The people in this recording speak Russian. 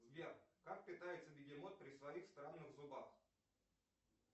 сбер как питается бегемот при своих странных зубах